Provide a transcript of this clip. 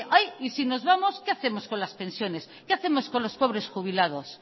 ay y si nos vamos qué hacemos con las pensiones qué hacemos con los pobres jubilados